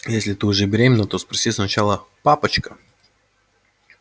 если ты уже беременна то спроси сначала папочка